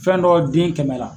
Fɛn dɔ den kɛmɛ la